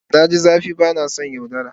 Na ji zafi ba na son yaudara.